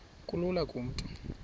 kulula kumntu onen